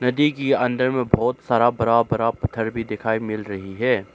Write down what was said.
नदी की अंदर में बहुत सारा बरा बरा पत्थर भी दिखाई मिल रही है।